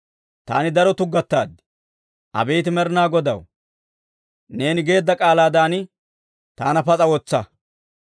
Taani daro tuggataad; abeet Med'inaa Godaw, neeni geedda k'aalaadan taana pas'a wotsa.